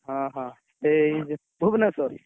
ଅହ! ଏଇ ଭୁବନେଶ୍ୱର?